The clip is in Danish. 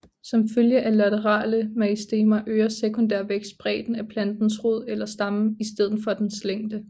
Som følge af laterale meristemer øger sekundær vækst bredden af plantens rod eller stamme i stedet for dens længde